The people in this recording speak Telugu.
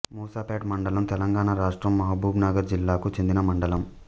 మూసాపేట్ మండలంతెలంగాణ రాష్ట్రం మహబూబ్ నగర్ జిల్లాకు చెందిన మండలం